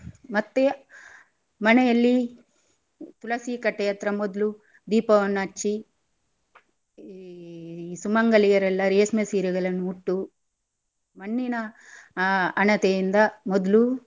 ಮತ್ತೆ ಮನೆಯಲ್ಲಿ ತುಳಸಿ ಕಟ್ಟೆಯತ್ರ ಮೊದ್ಲು ದೀಪವನ್ನ ಹಚ್ಚಿ ಈ ಸುಮಂಗಲಿಯರೆಲ್ಲ ರೇಷ್ಮೆ ಸೀರೆಗಳನ್ನು ಉಟ್ಟು ಮಣ್ಣಿನಾ ಆ ಹಣತೆಯಿಂದ ಮೊದ್ಲು